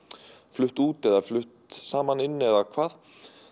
flutt út eða flutt saman inn eða hvað